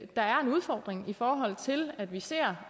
der er en udfordring i forhold til at vi ser